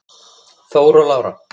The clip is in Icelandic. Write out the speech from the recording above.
Þór og Lára.